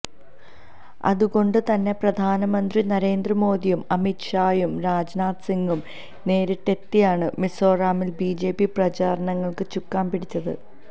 അതുകൊണ്ട് തന്നെ പ്രധാനമന്ത്രി നരേന്ദ്രമോദിയും അമിത് ഷായും രാജ്നാഥ് സിങ്ങും നേരിട്ടെത്തിയാണ് മിസോറാമില് ബിജെപി പ്രചാരങ്ങള്ക്ക് ചുക്കാന് പിടിച്ചത്